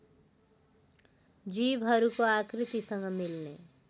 जीवहरूको आकृतिसँग मिल्ने